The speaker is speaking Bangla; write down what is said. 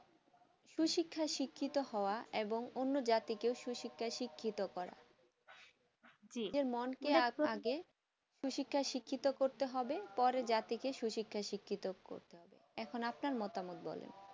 সু শিক্ষা শিক্ষিত হয়ে ও অন্য্ জাতিকে সু শিক্ষা শিক্ষিত করা জি নিজের মন কে সু শিক্ষা শিক্ষিত করতে হবে পরে জাতিকে সু শিক্ষা শিক্ষিত করতে হবে এখন আপনার মতামত বলেন